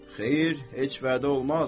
Xeyr, heç vədə olmaz.